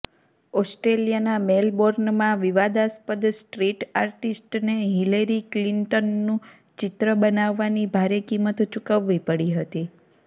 ઓસ્ટ્રેલિયાના મેલબોર્નમાં વિવાદાસ્પદ સ્ટ્રીટ આર્ટિસ્ટને હિલેરી ક્લિન્ટનનું ચિત્ર બનાવવાની ભારે કિંમત ચુકવવી પડી હતી